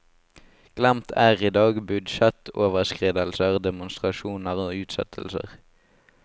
Glemt er i dag budsjettoverskridelser, demonstrasjoner og utsettelser.